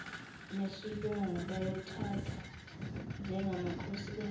ngesilungu bayothathwa njengamakhosikazi